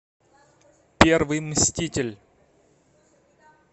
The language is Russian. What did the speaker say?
первый мститель